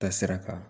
Taasira kan